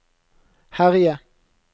herje